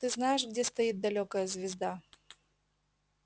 ты знаешь где стоит далёкая звезда